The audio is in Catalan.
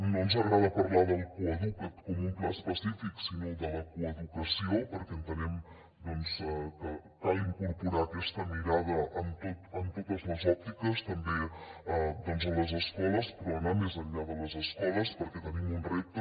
no ens agrada parlar del coeduca’t com un pla específic sinó de la coeducació perquè entenem que cal incorporar aquesta mirada en totes les òptiques també a les escoles però també anar més enllà de les escoles perquè tenim un repte